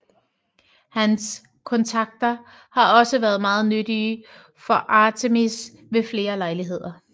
Hans kontakter har også været meget nyttige for Artemis ved flere lejligheder